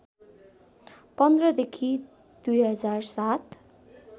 १५ देखि २००७